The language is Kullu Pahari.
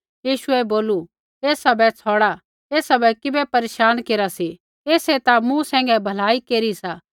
यीशुऐ बोलू ऐसा बै छ़ौड़ा ऐसा बै किबै परेशान केरा सी ऐसै ता मूँ सैंघै भलाई केरी सा